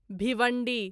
Bhiwandi